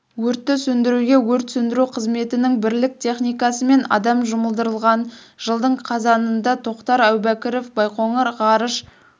өртті сөндіруге өрт сөндіру қызметінің бірлік техникасы мен адам жұмылдырылған жылдың қазанында тоқтар әубәкіров байқоңыр ғарыш